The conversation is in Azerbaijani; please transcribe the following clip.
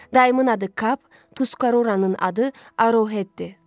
Dayımın adı Kap, Tuskaroranın adı Arohetdir.